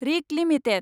Rick limited